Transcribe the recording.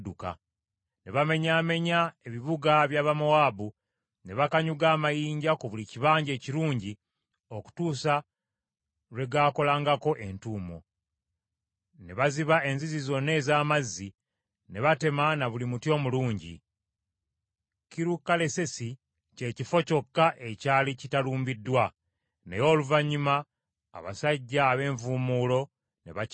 Ne bamenyaamenya ebibuga by’Abamowaabu, ne bakanyuga amayinja ku buli kibanja ekirungi okutuusa lwe gaakolangako entuumo; ne baziba enzizi zonna ez’amazzi, ne batema na buli muti omulungi. Kirukalesesi kye kifo kyokka ekyali kitalumbiddwa, naye oluvannyuma abasajja ab’envuumuulo ne bakirumba.